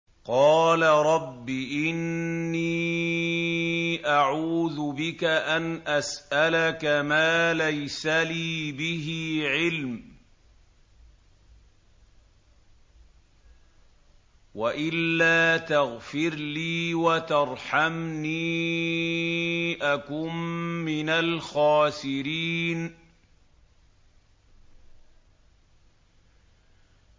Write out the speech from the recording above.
قَالَ رَبِّ إِنِّي أَعُوذُ بِكَ أَنْ أَسْأَلَكَ مَا لَيْسَ لِي بِهِ عِلْمٌ ۖ وَإِلَّا تَغْفِرْ لِي وَتَرْحَمْنِي أَكُن مِّنَ الْخَاسِرِينَ